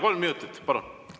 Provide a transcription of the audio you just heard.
Kolm minutit, palun!